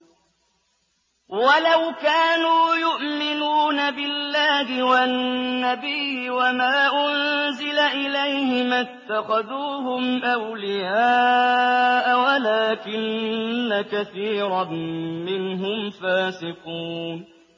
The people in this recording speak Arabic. وَلَوْ كَانُوا يُؤْمِنُونَ بِاللَّهِ وَالنَّبِيِّ وَمَا أُنزِلَ إِلَيْهِ مَا اتَّخَذُوهُمْ أَوْلِيَاءَ وَلَٰكِنَّ كَثِيرًا مِّنْهُمْ فَاسِقُونَ